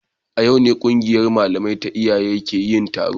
A yau ne kungiyar malamai ta iyaye ke yin taro